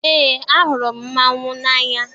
Eé, ahụrụ m mmanwụ n'anya.